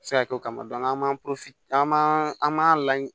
Se ka kɛ o kama an man an m'an laɲini